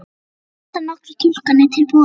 Hér standa nokkrar túlkanir til boða.